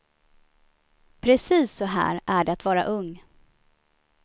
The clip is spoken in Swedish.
Precis så här är det att vara ung.